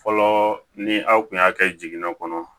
Fɔlɔ ni aw tun y'a kɛ jiginna kɔnɔ